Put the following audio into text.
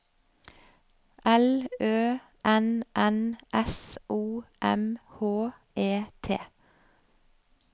L Ø N N S O M H E T